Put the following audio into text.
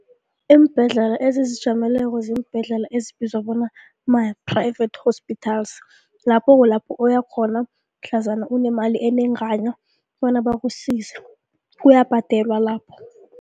Iimbhedlela ezizijameleko ziimbhedlela ezibizwa bona ma-private hospitals, lapho kulapho uyakghona mhlazana unemali enengana bona bakusize, kuyabhadelwa lapho.